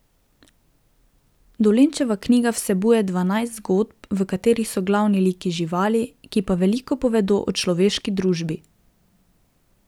Dolenčeva knjiga vsebuje dvanajst zgodb, v katerih so glavni liki živali, ki pa veliko povedo o človeški družbi.